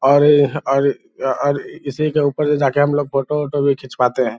और-और अर इसी के ऊपर से जाके हमलोग फ़ोटो वोटो भी खिचवाते है।